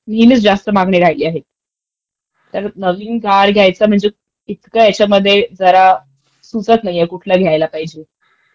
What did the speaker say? नेहमीच जास्त मागणी राहीली आहे. तर नवीन कार घ्यायच म्हणजे तर इतकं ह्याच्यामध्ये जरा सुचतं नाहीये काय घ्यायला पाहिजे.